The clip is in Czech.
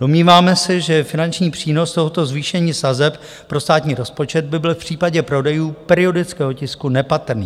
Domníváme se, že finanční přínos tohoto zvýšení sazeb pro státní rozpočet by byl v případě prodejů periodického tisku nepatrný.